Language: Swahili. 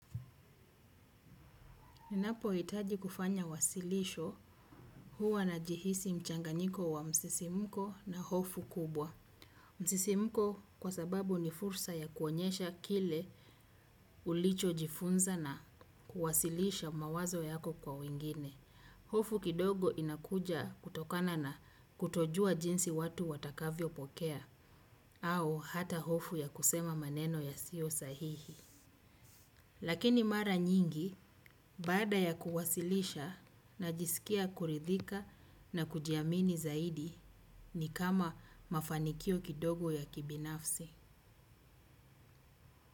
Ninapohitaji kufanya wasilisho huwa najihisi mchanganyiko wa msisimko na hofu kubwa. Msisimko kwa sababu ni fursa ya kuonyesha kile ulichojifunza na kuwasilisha mawazo yako kwa wengine. Hofu kidogo inakuja kutokana na kutojua jinsi watu watakavyopokea au hata hofu ya kusema maneno yasiyo sahihi. Lakini mara nyingi baada ya kuwasilisha najisikia kuridhika na kujiamini zaidi ni kama mafanikio kidogo ya kibinafsi.